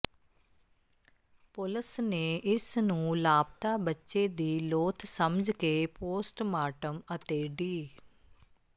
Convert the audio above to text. ਪੁਲਸ ਨੇ ਇਸ ਨੂੰ ਲਾਪਤਾ ਬੱਚੇ ਦੀ ਲੋਥ ਸਮਝ ਕੇ ਪੋਸਟਮਾਰਟਮ ਅਤੇ ਡੀ